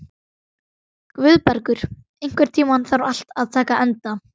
Guðbergur, einhvern tímann þarf allt að taka enda.